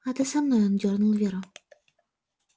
а ты со мной он дёрнул веру